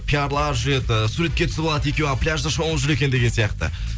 пиярлар жүреді суретке түсіріп алады екеуі пляжда шомылып жүр екен деп сияқты